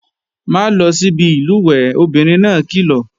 Má lọ síbi ìlùwẹ̀ẹ̀, obìnrin náà kìlọ̀!